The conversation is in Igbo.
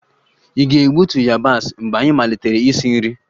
Ị ga-egbutu yabasị mgbe anyị malitere isi nri